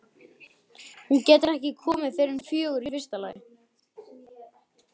Hún getur ekki komið fyrr en fjögur í fyrsta lagi.